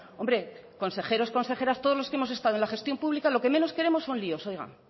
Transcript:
hombre consejeros consejeras todos los que hemos estado en la gestión pública lo que menos queremos son líos oiga